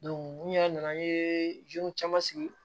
n yɛrɛ nana n ye caman sigi